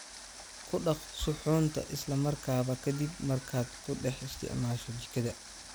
Ku dhaq suxuunta isla markaaba ka dib markaad ku dhex isticmaasho jikada.